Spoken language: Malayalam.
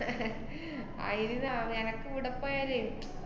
അയിന് ന~ നെനക്കിവിടെ പോയാലേ